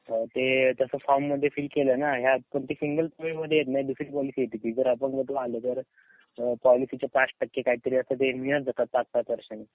ते तास फोर्म मध्ये फील केलाय ना दुसरी पॉलिसी येते ती जर अपंगत्व आलं तर पॉलिसीच्या पाच टक्के काहीतरी असं ते मिळत जात पाच पाच वर्षांनी.